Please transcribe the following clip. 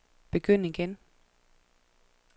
begynd igen